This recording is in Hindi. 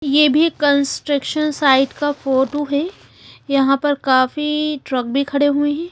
ये भी कंस्ट्रकशन साइड का फोटो है यहाँ पर काफी ट्रक भी खड़े हुए है।